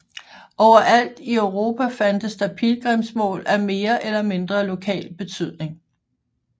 Overalt i Europa fandtes der pilgrimsmål af mere eller mindre lokal betydning